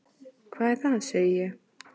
Hvað er það? segi ég.